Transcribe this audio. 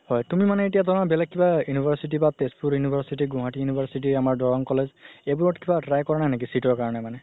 হয় তুমি মানে এতিয়া তুমাৰ বেলেগ কিবা university বা তেজপুৰ university গুৱাহাতি university আমাৰ দৰ্ৰনং college এইবোৰত কিবা try কৰা নাই নেকি seat ৰ কাৰণে মানে